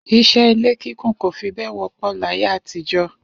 Is̩é̩ ilé kíkùn kò fi bé̩è̩ wó̩pò̩ láyé àtijó̩